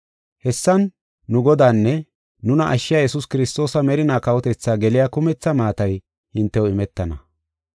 Hessan nu Godaanne nuna ashshiya Yesuus Kiristoosa merinaa kawotethaa geliya kumetha maatay hintew imetana.